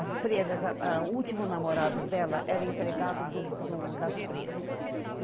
As freiras, a a o último namorado dela era empregado do do das freiras.